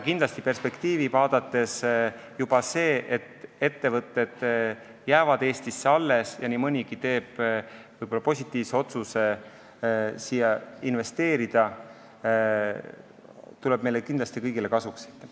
Perspektiivi vaadates aga kindlasti juba see, et ettevõtted jäävad Eestisse alles ja nii mõnigi neist otsustab siia investeerida, tuleb meile kõigile kasuks.